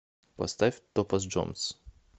поставь топаз джонс